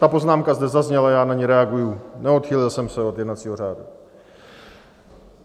Ta poznámka zde zazněla, já na ni reaguji, neodchýlil jsem se od jednacího řádu.